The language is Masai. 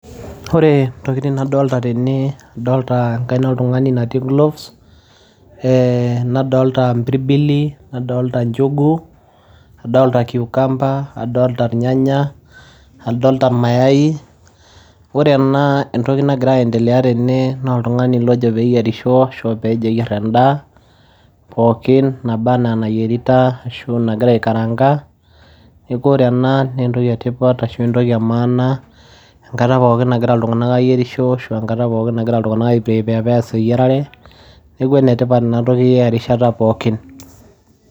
Ore ntokitin nadolita tene adolitaa enkaina oltunganii natii gloves adolita mpirbilii nchugu cucumber nyanya mayai ore entokii nagiraa ayendelea tene naa oltunganii lagiraa ayierisho ayier anda naa enaa enagira aikaranga neeku enetipat ena bayee enkata pookin